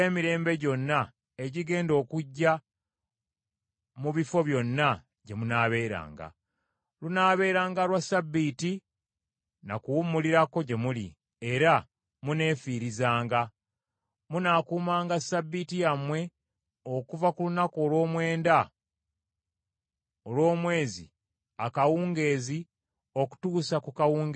Lunaabeeranga lwa Ssabbiiti na kuwummulirako gye muli, era muneefiirizanga. Munaakuumanga Ssabbiiti yammwe okuva ku lunaku olw’omwenda olw’omwezi akawungeezi okutuusa ku kawungeezi akaddirira.”